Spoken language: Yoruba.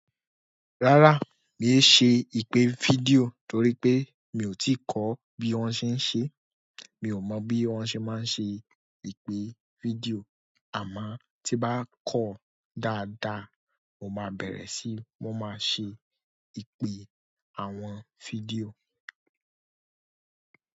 Rárá, mi ò yi ṣe ìpè fídíò torí pé mi ò tí ì kọ́ bí wọ́n ṣe ń ṣe, mi ò mọ̀ bí wọ́n ṣe máa ń ṣe ìpè fídíò. Àmo tí n bá kọ́ dáadáa, mo máa bẹ̀rẹ̀ sí ma máa ṣe ìpè àwọn fídíò.